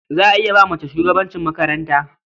Za a iya ba mace shugabancin makaranta.